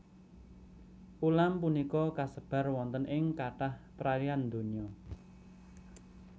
Ulam punika kasebar wonten ing kathah perairan donya